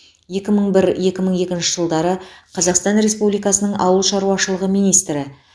екі мың бір екі мың екінші жылдары қазақстан республикасының ауыл шаруашылығы министрі